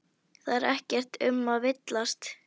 Það er ekkert um að villast.